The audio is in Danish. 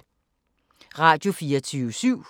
Radio24syv